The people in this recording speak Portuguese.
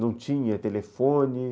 Não tinha telefone.